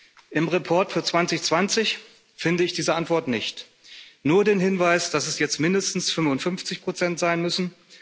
Im Bericht für 2020 finde ich diese Antwort nicht nur den Hinweis, dass es jetzt mindestens 55 sein müssen.